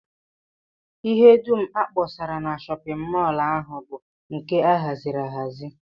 Ihe dum a kpọsara na shọpịn mọl ahụ bụ nke a haziri ahazi